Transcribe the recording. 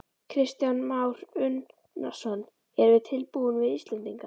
Kristján Már Unnarsson: Erum við tilbúin við Íslendingar?